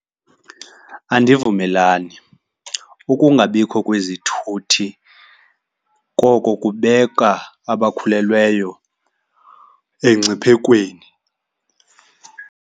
Andivumelani. Ukungabikho kwezithuthi, koko kubeka abakhulelweyo engciphekweni.